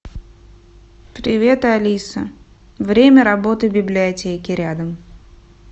привет алиса время работы библиотеки рядом